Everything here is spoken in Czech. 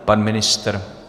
Pan ministr?